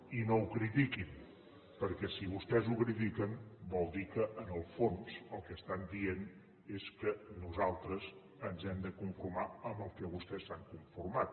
i no ho critiquin perquè si vostès ho critiquen vol dir que en el fons el que estan dient és que nosaltres ens hem de conformar amb el que vostès s’han conformat